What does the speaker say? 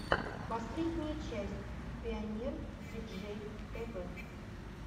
последняя часть пионер диджей тэвэ